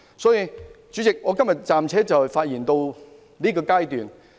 代理主席，我今天暫且發言至此。